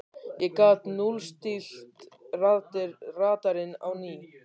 ég gat núllstillt radarinn á ný.